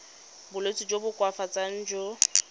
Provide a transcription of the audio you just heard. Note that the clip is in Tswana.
bolwetsi jo bo koafatsang jo